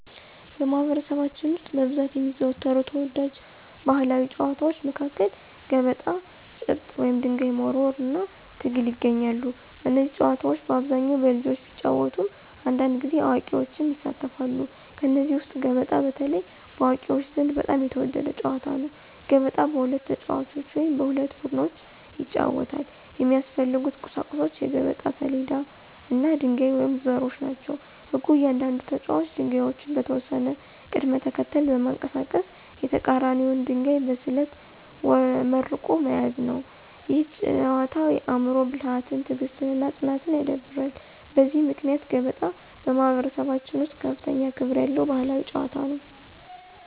በማኅበረሰባችን ውስጥ በብዛት የሚዘወተሩ ተወዳጅ ባሕላዊ ጨዋታዎች መካከል ገበጣ፣ ጭብጥ (ድንጋይ መወርወር) እና ትግል ይገኛሉ። እነዚህ ጨዋታዎች በአብዛኛው በልጆች ቢጫወቱም አንዳንድ ጊዜ አዋቂዎችም ይሳተፋሉ። ከእነዚህ ውስጥ ገበጣ በተለይ በአዋቂዎች ዘንድ በጣም የተወደደ ጨዋታ ነው። ገበጣ በሁለት ተጫዋቾች ወይም በሁለት ቡድኖች ይጫወታል። የሚያስፈልጉት ቁሳቁሶች የገበጣ ሰሌዳ እና ድንጋዮች ወይም ዘሮች ናቸው። ሕጉ እያንዳንዱ ተጫዋች ድንጋዮቹን በተወሰነ ቅደም ተከተል በማንቀሳቀስ የተቀራኒውን ድንጋይ በስልት መርቆ መያዝ ነው። ይህ ጨዋታ የአእምሮ ብልሃትን፣ ትዕግሥትን እና ፅናትን ያዳብራል። በዚህ ምክንያት ገበጣ በማኅበረሰባችን ውስጥ ከፍተኛ ክብር ያለው ባሕላዊ ጨዋታ ነው።